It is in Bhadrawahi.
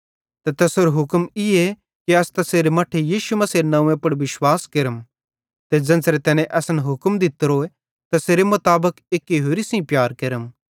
ते तैसेरो हुक्म ईए कि अस तैसेरे मट्ठे यीशु मसीहेरे नंव्वे पुड़ विश्वास केरम ते ज़ेन्च़रे तैने असन हुक्म दित्तो तैसेरे मुताबिक एक्की होरि सेइं प्यार केरम